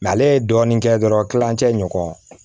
ale ye dɔɔnin kɛ dɔrɔn kilancɛ ɲɔgɔn